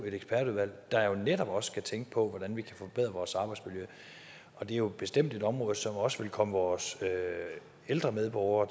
et ekspertudvalg der netop også skal tænke på hvordan vi kan forbedre vores arbejdsmiljø og det er jo bestemt et område som også vil komme vores ældre medborgere